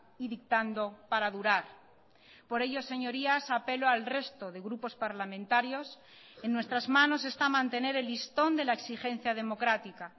y dictando para durar por ello señorías apelo al resto de grupos parlamentarios en nuestras manos está mantener el listón de la exigencia democrática